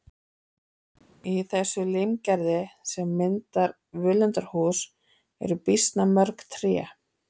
Í þessu limgerði sem myndar völundarhús eru býsna mörg tré.